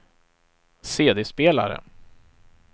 CD-spelare